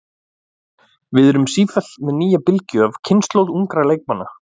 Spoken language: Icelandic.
Við erum sífellt með nýja bylgju af kynslóð ungra leikmanna.